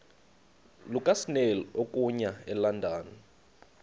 lukasnail okuya elondon